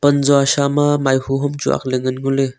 anzua shyama maihu homchu akley nganley ngoley.